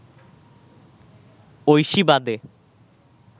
ঐশী বাদে